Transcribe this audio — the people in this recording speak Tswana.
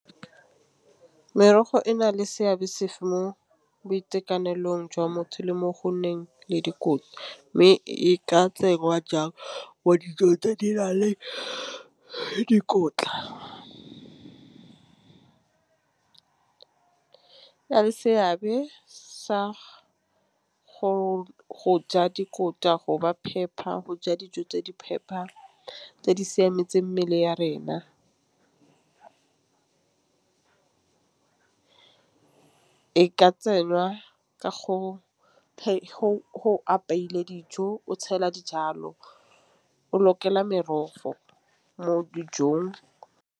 Merogo e na le seabe sefe mo boitekanelong jwa motho le mo go nneng le dikotla, mme e ka tsewa jalo wa dijo tse di na le dikotla seabe sa go ja dikotla go ba phepa go ja dijo tse di phepa tse di siametseng mmele ya rena. E ka tsenwa ke go apeilwe dijo o tshela dijalo o lokela merogo mo dijong.